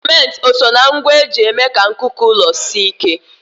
Simenti o soo na ngwa eji eme ka nkuku ụlọ sie ike?